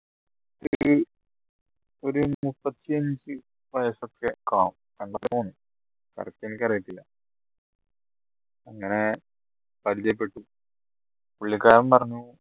ഒരു മുപ്പത്തിഅഞ്ജ് കാണും correct എനിക്കറിയത്തില്ല അങ്ങനെ പരിചയപ്പെട്ടു പുള്ളിക്കാരൻ പറഞ്ഞു